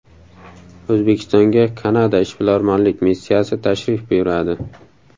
O‘zbekistonga Kanada ishbilarmonlik missiyasi tashrif buyuradi.